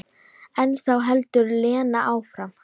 En þá heldur Lena áfram.